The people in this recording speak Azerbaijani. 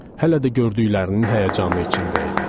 Hələ də gördüklərinin həyəcanı içində idi.